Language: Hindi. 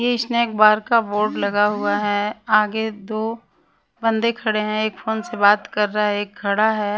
ये स्नैक बार का बोर्ड लगा हुआ है आगे दो बंदे खड़े हैं एक फोन से बात कर रहा है एक खड़ा है।